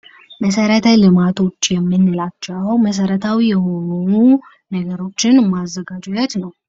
መሰረተ ልማቶች የምንላቸው መሰረታዊ የሆኑ ነገሮችን ማዘጋጃት ነው።